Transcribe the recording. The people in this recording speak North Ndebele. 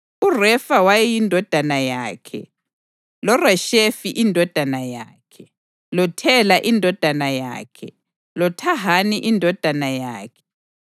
URefa wayeyindodana yakhe, loReshefi indodana yakhe, loThela indodana yakhe, loThahani indodana yakhe,